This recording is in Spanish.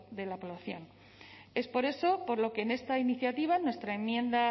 de la población es por eso por lo que en esta iniciativa en nuestra enmienda